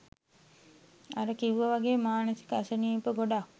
අර කිව්ව වගේ මානසික අසනීප ගොඩක්